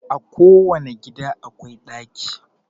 A ko wani gida akwai ɗaki